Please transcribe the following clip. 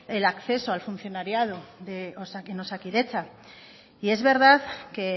del acceso al funcionariado en osakidetza y es verdad que